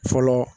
Fɔlɔ